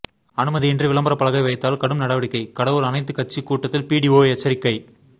அனுமதியின்றி விளம்பர பலகை வைத்தால் கடும் நடவடிக்கை கடவூர் அனைத்து கட்சி கூட்டத்தில் பிடிஓ எச்சரிக்கை